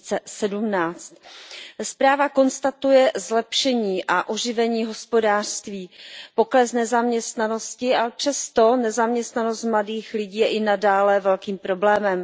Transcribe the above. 2017. Zpráva konstatuje zlepšení a oživení hospodářství, pokles nezaměstnanosti, ale přesto nezaměstnanost mladých lidí je i nadále velkým problémem.